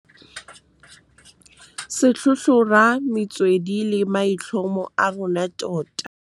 Se tlhotlhora metswedi le maitlhomo a rona tota. Se tlhotlhora metswedi le maitlhomo a rona tota.